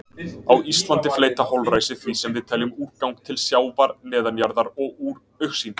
Á Íslandi fleyta holræsi því sem við teljum úrgang til sjávar, neðanjarðar og úr augsýn.